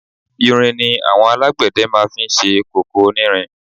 Irin ni àwọn alágbẹ̀dẹ máa fi ń ṣe kòkò onírin.